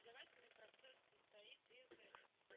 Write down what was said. образовательный процесс состоит из